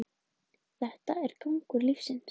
Þetta er gangur lífsins